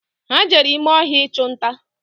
Ha jere ime ọhịa ichunta